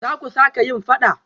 Zaku sake yin fada?